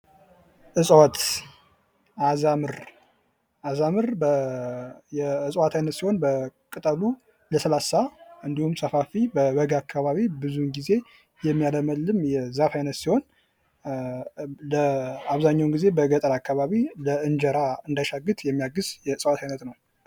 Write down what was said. ዕፅዋት አዛምር አዛምር የዕፅዋት አይነት ሲሆን ቅጠሉ ለስላሳ እንድሁም ሰፋፊ በበጋ አካባቢ ብዙውን ጊዜ የሚያለመልም የዛፍ አይነት ሲሆን አብዛኛውን ጊዜ በገጠር አካባቢ ለእንጀራ እንዳይሻግት የሚያግዝ የዕፅዋት አይነት ነው።